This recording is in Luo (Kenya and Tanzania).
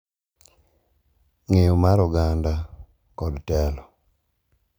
Ng’eyo mar oganda, kod telo.